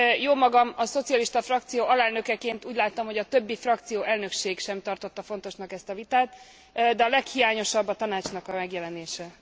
Jómagam a szocialista frakció alelnökeként úgy láttam, hogy a többi frakcióelnökség sem tartotta fontosnak ezt a vitát, de a leghiányosabb a Tanácsnak a megjelenése.